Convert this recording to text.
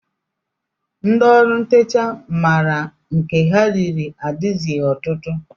Ndị ọrụ ntecha maara nke ha riri adịzighị ọtụtụ